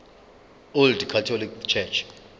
old catholic church